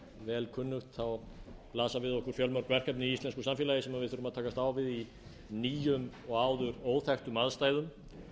vel kunnugt blasa við okkur fjölmörg verkefni í íslensku samfélagi sem við þurfum að takast á við í nýjum og áður óþekktum aðstæðum